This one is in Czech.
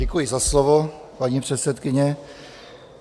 Děkuji za slovo, paní předsedkyně.